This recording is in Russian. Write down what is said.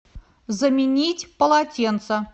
заменить полотенца